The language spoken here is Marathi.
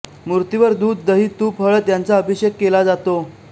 मूर्तीवर दूध दही तूप हळद यांचा अभिषेक केला जातो